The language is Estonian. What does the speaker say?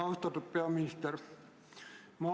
Austatud peaminister!